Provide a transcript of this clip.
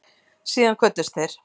Síðan kvöddust þeir.